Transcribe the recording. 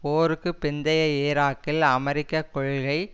போருக்கு பிந்தைய ஈராக்கில் அமெரிகக் கொள்கை